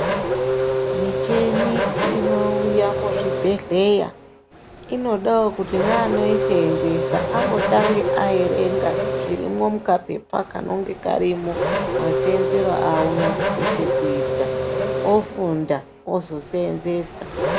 Michini inouya muzvibhedhleya inodawo kuti neanoisevenzesa ambotangawo averenga zvirimo mukapepa kanenga karimo, maseenzere aunosise kuita ofunda ozoseenzesa.